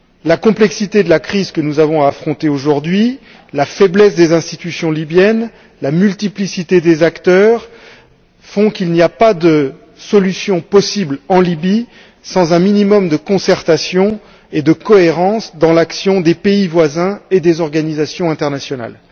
La complexité de la crise que nous avons à affronter aujourd'hui, la faiblesse des institutions libyennes, la multiplicité des acteurs font qu'il n'y a pas de solution possible en Libye sans un minimum de concertation et de cohérence dans l'action des pays voisins et des organisations internationales.